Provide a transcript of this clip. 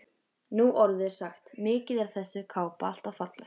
Nú orðið er sagt: Mikið er þessi kápa alltaf falleg